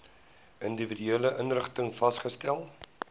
individuele inrigtings vasgestel